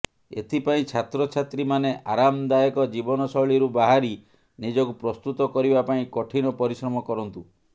ଏଥିପାଇଁ ଛାତ୍ରଛାତ୍ରୀମାନେ ଆରାମଦାୟକ ଜୀବନଶୈଳୀରୁ ବାହାରି ନିଜକୁ ପ୍ରସ୍ତୁତ କରିବା ପାଇଁ କଠିନ ପରିଶ୍ରମ କରନ୍ତୁ